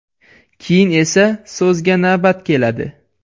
Keyin esa so‘zga navbat keladi”.